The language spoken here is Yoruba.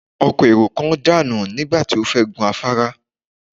Ọkọ̀ èrò kan dànù nígbà tó fẹ́ gun afárá